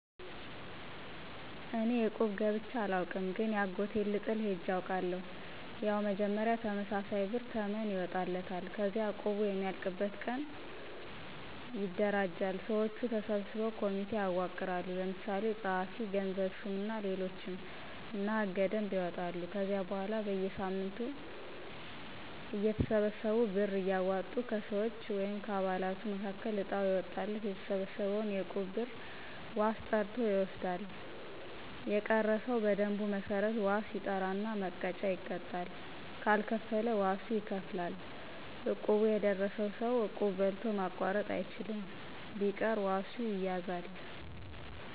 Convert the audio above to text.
እኔ እቁብ ገብቸ አላውቅም ግን የአጎቴን ልጥል ሄጀ አውቃለሁ። ያው መጀመሪያ ተመሳሳይ ብር ተመን ይወጣለታል። ከዚያ እቁቡ የሚያልቅበት ቀን ይደነጃል። ሰወቹ ተሰብስበው ኮሚቴ ያዋቅራሉ። ለምሳሌ ጸሀፊ፣ ገንዘብ ሹም እና ሌሎችም እና ሕገ - ደንብ ያወጣሉ። ከዚያ በኋላ በየሳምንቱ እያተሰበሰቡ ብር እያወጡ ከሰወች(ከአባላቱ)መካከል እጣው የወጣለት የተሰበሰበውን የእቁብ ብር ዋስ ጠርቶ ይወስዳል። የቀረ ሰው በደንቡ መሠረት ዋስ ይጠራና መቀጫ ይቀጣል ካልከፈለ ዋሱ ይከፍላል። እቁብ የደረሰው ሰው እቁብ በልቶ ማቋረጥ አይችልም። ቢቀር ዋሱ ይያዛል።